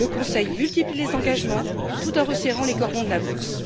Le Conseil multiplie les engagements tout en resserrant les cordons de la bourse.